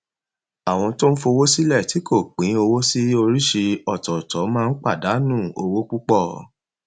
àwọn tó ń fowó sílẹ tí kò pín owó sí oríṣi ọtọọtọ máa ń pàdánù owó púpọ